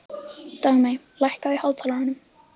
Dagmey, lækkaðu í hátalaranum.